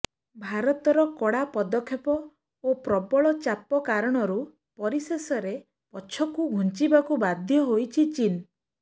ଭାରତର କଡ଼ା ପଦକ୍ଷେପ ଓ ପ୍ରବଳ ଚାପ କାରଣରୁ ପରିଶେଷରେ ପଛକୁ ଘୁଞ୍ଚିବାକୁ ବାଧ୍ୟ ହୋଇଛି ଚୀନ